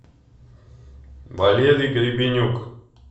валерий гребенюк